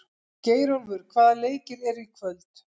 Geirólfur, hvaða leikir eru í kvöld?